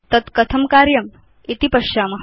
तद् कथं कार्यमिति पश्याम